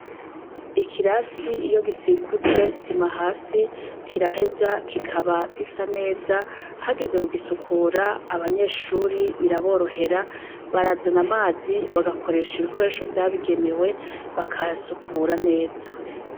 Ikirasi iyo gisikujwe sima hasi, kiraheza kikaba gisa neza ,hageze kugisukura abanyeshure biraborohera ,barazana amazi bagakoresha ibikoresho vyabigenewe bakahasukura neza.